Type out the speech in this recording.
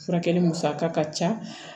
Furakɛli musaka ka ca